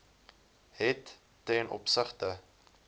het ten opsigte